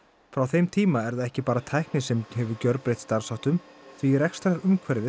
frá þeim tíma er það ekki bara tæknin sem hefur gjörbreytt starfsháttum því rekstrarumhverfið